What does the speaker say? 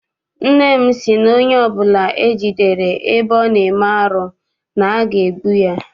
Nne m sị na onye ọbụla e jidere ebe ọ na-eme arụ na aga egbu ya.